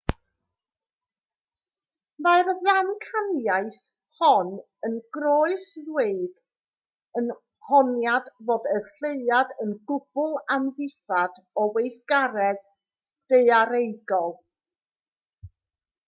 mae'r ddamcaniaeth hon yn croes-ddweud yr honiad fod y lleuad yn gwbl amddifad o weithgaredd daearaegol